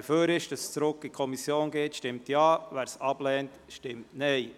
Wer für die Rückweisung an die Kommission ist, stimmt Ja, wer dies ablehnt, stimmt Nein.